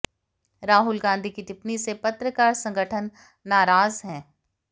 राहुल गांधी की टिप्पणी से पत्रकार संगठन नाराज़ है